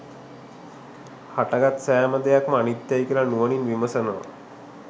හටගත්ත සෑම දෙයක්ම අනිත්‍යයි කියල නුවණින් විමසනවා